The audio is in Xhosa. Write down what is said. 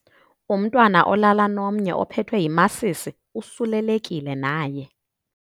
Umntwana olala nomnye ophethwe yimasisi usulelekile naye.